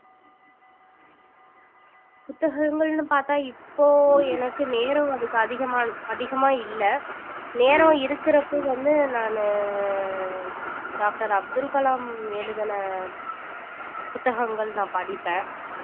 புத்தகங்கள்னு பார்த்தா இப்போ எனக்கு நேரம் அதுக்கு அதிகமா அதிகமா இல்லை நேரம் இருக்கிறப்ப வந்து நானு doctor அப்துல் கலாம் எழுதுன புத்தகங்கள் நான் படிப்பேன்